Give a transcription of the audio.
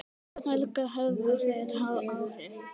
Helga: Höfðu þeir áhrif?